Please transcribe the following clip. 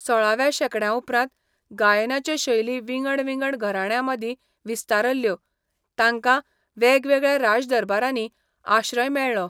सोळाव्या शेंकड्याउपरांत, गायनाच्यो शैली विंगड विंगड घरांण्यांमदीं विस्तारल्यो, तांकां वेगवेगळ्या राजदरबारांनी आश्रय मेळ्ळो.